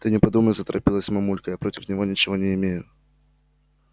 ты не подумай заторопилась мамулька я против него ничего не имею